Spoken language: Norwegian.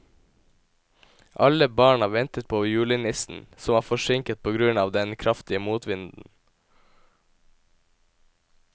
Alle barna ventet på julenissen, som var forsinket på grunn av den kraftige motvinden.